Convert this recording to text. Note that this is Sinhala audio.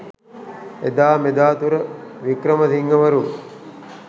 එදා මෙදාතුර වික්‍රමසිංහවරු